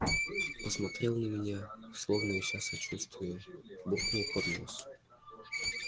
посмотрел на меня словно ища сочувствия буркнул под нос